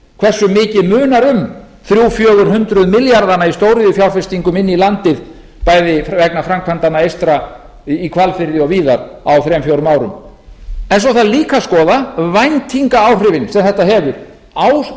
hversu mikið munar um þrjú hundruð til fjögur hundruð milljarðana í stóriðjufjárfestingum inn í landið bæði vegna framkvæmdanna eystra í hvalfirði og víðar á þriggja til fjórum árum en svo þarf líka að skoða væntingaáhrifin sem þetta hefur áhrifin